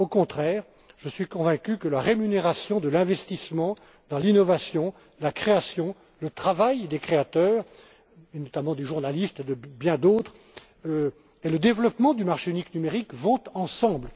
Au contraire, je suis convaincu que la rémunération de l'investissement dans l'innovation, la création, le travail des créateurs, notamment des journalistes et de bien d'autres, et le développement du marché unique numérique vont ensemble.